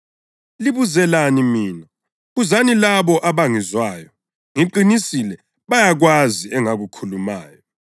Libuzelani mina? Buzani labo abangizwayo. Ngiqinisile bayakwazi engakukhulumayo.”